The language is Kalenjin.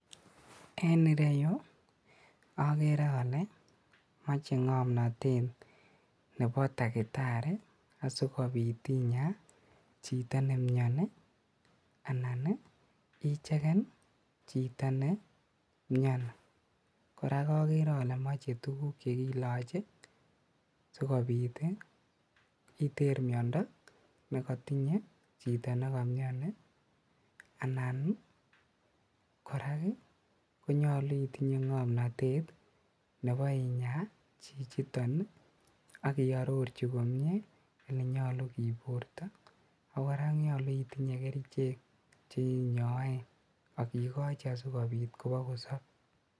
En ireyu okere ole moche ngomnotet nebo daktari asikobit inyaa chito nemioni anan icheken chito nemioni ,korak okere ole moche tuguk chekikoche sikobit iter miondo nekotinye chito nekomioni anan ii korak konyolu itinye ngomnotet nebo inyaa chichiton ak iororchi komie elenyolu kiburto ak koraa konyolu itinye kerichek cheinyoe ak ikochi asikobit kobokosob.